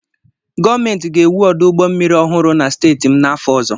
Gọọmentị ga-ewu ọdụ ụgbọ mmiri ọhụrụ na steeti m n'afọ ọzọ.